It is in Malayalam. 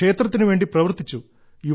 ക്ഷേത്രത്തിനു വേണ്ടി പ്രവർത്തിച്ചു